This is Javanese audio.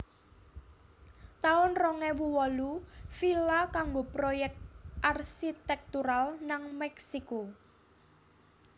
taun rong ewu wolu Villa kanggo proyèk arsitektural nang Meksiko